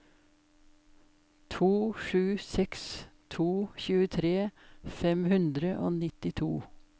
to sju seks to tjuetre fem hundre og nittito